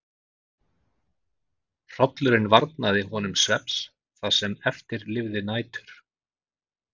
Hrollurinn varnaði honum svefns það sem eftir lifði nætur.